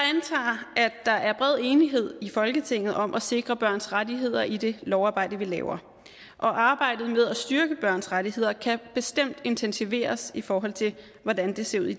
der er bred enighed i folketinget om at sikre børns rettigheder i det lovarbejde vi laver arbejdet med at styrke børns rettigheder kan bestemt intensiveres i forhold til hvordan det ser ud i